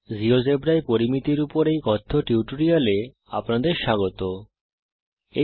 জীয়োজেব্রায় পরিমিতির উপর এই টিউটোরিয়াল এ আপনাদের স্বাগত জানাই